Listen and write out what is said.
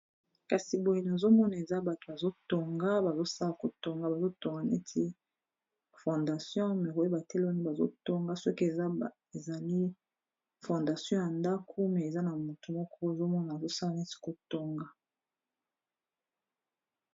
kasi boyi nazomona eza bato bazotonga bazosala kotonga bazotonga neti fondation me koyeba te loono bazotonga soki ezali fondation ya ndako me eza na moto moko ozomona bazosala neti kotonga